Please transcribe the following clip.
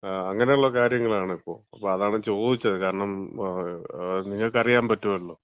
അങ്ങനെ ഉള്ള കാര്യങ്ങളാണിപ്പോ. അപ്പൊ അതാണ് ചോദിച്ചത്. കാരണം നിങ്ങക്ക് അറിയാൻ പറ്റുമല്ലോ.